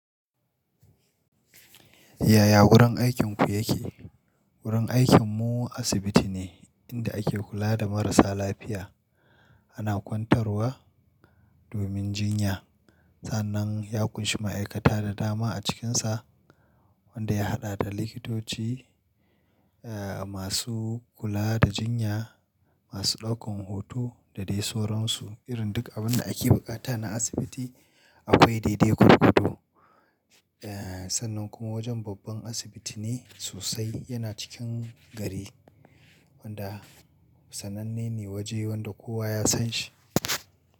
Yaya wurin aikinku yake? Wurin aikinmu asibiti ne inda ake kula da marasa lafiya ana kwantarwa domin jinya. Sannan ya ƙunshi ma'aikata da dama a cikinsa wanda ya haɗa da likitoci eh masu kula da jinya, masu ɗaukan hoto da dai sauransu irin duk abun da ake buƙata na asibiti. Akwai daidai gorgodo eh sannan kuma wajen babban asibiti ne sosai yana cikin gari wanda sananne ne waje wanda kowa ya san shi.